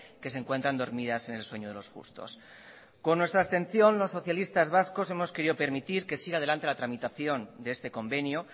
que se encuentran dormidas en el sueño de los justos con nuestra abstención los socialistas vascos hemos querido permitir que siga adelante la tramitación de este convenio